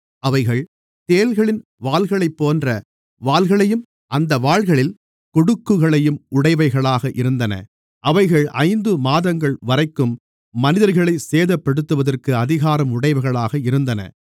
அவைகள் தேள்களின் வால்களைப்போன்ற வால்களையும் அந்த வால்களில் கொடுக்குகளையும் உடையவைகளாக இருந்தன அவைகள் ஐந்து மாதங்கள்வரைக்கும் மனிதர்களைச் சேதப்படுத்துவதற்கு அதிகாரம் உடையவைகளாக இருந்தன